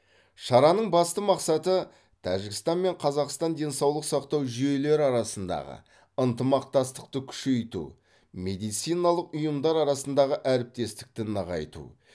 шараның басты мақсаты тәжікстан мен қазақстан денсаулық сақтау жүйелері арасындағы ынтымақтастықты күшейту медициналық ұйымдар арасындағы әріптестікті нығайту